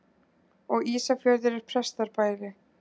Og Ísafjörður er pestarbæli.